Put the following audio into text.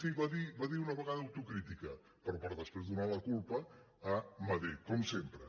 sí va dir una vegada autocrítica però per després donar la culpa a madrid com sempre